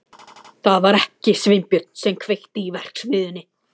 Það var ekki Sveinbjörn sem kveikti í verksmiðjunni.